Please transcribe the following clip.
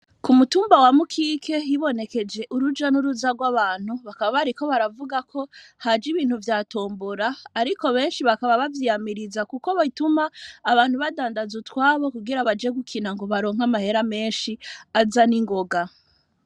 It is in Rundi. Ku mutumba wa Mukike hibonekeje uruja n'uruza rw'abantu bakaba bariko baravuga ko haje ibintu vya tombora ariko benshi bakaba bavyiyamiriza kuko bituma abantu badandaza utwabo kugira baje gukina ngo baronke amahera menshi aza ningoga.